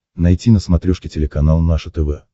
найти на смотрешке телеканал наше тв